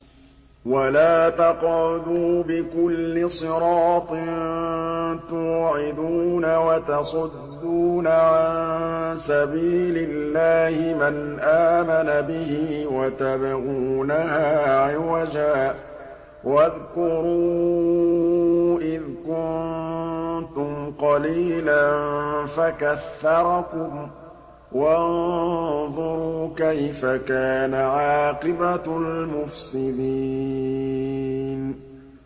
وَلَا تَقْعُدُوا بِكُلِّ صِرَاطٍ تُوعِدُونَ وَتَصُدُّونَ عَن سَبِيلِ اللَّهِ مَنْ آمَنَ بِهِ وَتَبْغُونَهَا عِوَجًا ۚ وَاذْكُرُوا إِذْ كُنتُمْ قَلِيلًا فَكَثَّرَكُمْ ۖ وَانظُرُوا كَيْفَ كَانَ عَاقِبَةُ الْمُفْسِدِينَ